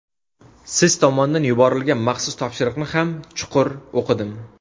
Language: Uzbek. Siz tomondan yuborilgan maxsus topshiriqni ham chuqur o‘qidim.